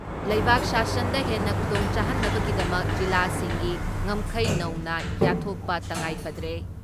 ꯂꯩꯕꯥꯛ ꯁꯥꯁꯟꯗ ꯍꯦꯟꯅ ꯈꯨꯗꯣꯡꯆꯥꯍꯟꯅꯕꯒꯤꯗꯃꯛ ꯖꯤꯂꯥꯁꯤꯡꯒꯤ ꯉꯝꯈꯩ ꯅꯧꯅ ꯌꯥꯠꯊꯣꯛꯄ ꯇꯉꯥꯏꯐꯗ꯭ꯔꯦ ꯫